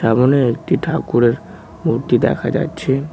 সামোনে একটি ঠাকুরের মূর্তি দেখা যাচ্ছে।